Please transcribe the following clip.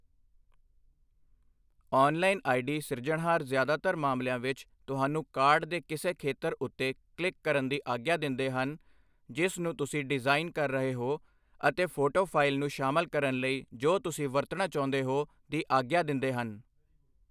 Online I. D . ਸਿਰਜਣਹਾਰ ਜ਼ਿਆਦਾਤਰ ਮਾਮਲਿਆਂ ਵਿੱਚ, ਤੁਹਾਨੂੰ ਕਾਰਡ ਦੇ ਕਿਸੇ ਖੇਤਰ ਉੱਤੇ ਕਲਿੱਕ ਕਰਨ ਦੀ ਆਗਿਆ ਦਿੰਦੇ ਹਨ ਜਿਸ ਨੂੰ ਤੁਸੀਂ ਡਿਜ਼ਾਈਨ ਕਰ ਰਹੇ ਹੋ ਅਤੇ ਫੋਟੋ ਫਾਇਲ ਨੂੰ ਸ਼ਾਮਲ ਕਰਨ ਲਈ ਜੋ ਤੁਸੀਂ ਵਰਤਣਾ ਚਾਹੁੰਦੇ ਹੋ ਦੀ ਆਗਿਆ ਦਿੰਦੇ ਹਨ।